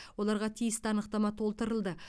оларға тиісті анықтама толтырылды